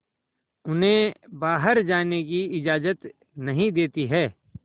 उन्हें बाहर जाने की इजाज़त नहीं देती है